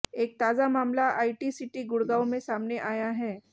एक ताजा मामला आईटी सीटी गुड़गांव में सामने आया है